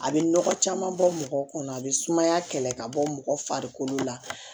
A bɛ nɔgɔ caman bɔ mɔgɔ kɔnɔ a bɛ sumaya kɛlɛ ka bɔ mɔgɔ farikolo la